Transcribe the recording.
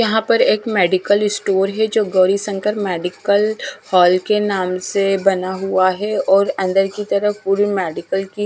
यहां पर एक मेडिकल स्टोर है जो गौरीशंकर मेडिकल हॉल के नाम से बना हुआ है और अंदर की तरफ पूरी मेडिकल की--